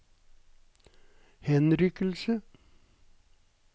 henrykkelse